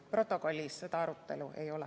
Protokollis seda arutelu ei ole.